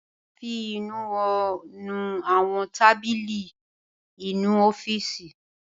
A fi ìnuwọ́ nu àwọn tábìlì inú ọ́fìsì.